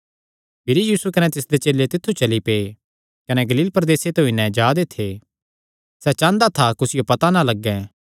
भिरी यीशु कने तिसदे चेले तित्थु ते चली पै कने गलील प्रदेसे ते होई नैं जा दे थे सैह़ चांह़दा था कुसियो पता ना लग्गैं